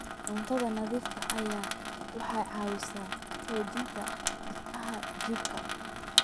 Cunto nadiif ah waxay caawisaa xoojinta difaaca jirka.